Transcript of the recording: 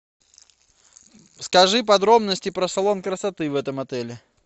скажи подробности про салон красоты в этом отеле